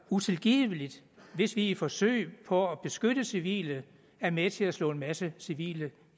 utilgiveligt hvis vi i et forsøg på at beskytte civile er med til at slå en masse civile